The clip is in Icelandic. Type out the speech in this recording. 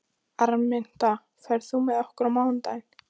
Araminta, ferð þú með okkur á mánudaginn?